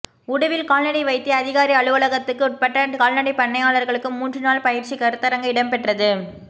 உடுவில் கால்நடை வைத்திய அதிகாரி அலுவலகத்துக்குட்பட்ட கால்நடைப் பண்ணையாளர்களுக்கு மூன்று நாள் பயிற்சிக் கருத்தரங்கு இடம்பெற்றது